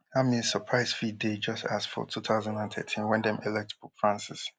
dat means surprise fit dey just as for two thousand and thirteen wen dem elect pope francis